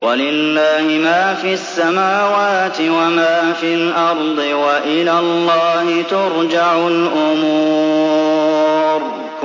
وَلِلَّهِ مَا فِي السَّمَاوَاتِ وَمَا فِي الْأَرْضِ ۚ وَإِلَى اللَّهِ تُرْجَعُ الْأُمُورُ